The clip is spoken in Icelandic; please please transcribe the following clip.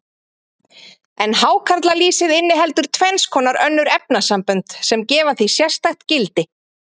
En hákarlalýsið inniheldur tvenns konar önnur efnasambönd, sem gefa því sérstakt gildi.